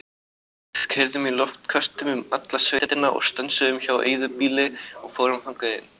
Við keyrðum í loftköstum um alla sveitina og stönsuðum hjá eyðibýli og fórum þangað inn.